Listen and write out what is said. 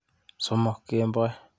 Somok kemboi.